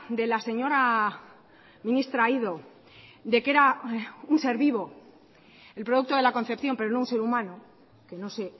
de la señora ministra aído de que era un ser vivo el producto de la concepción pero no un ser humano que no sé